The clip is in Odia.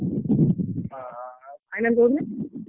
ହଁ ହଁ ଆଉ final day ରେ?